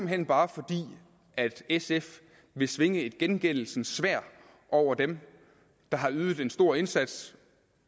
hen bare fordi sf vil svinge et gengældelsens sværd over dem der har ydet en stor indsats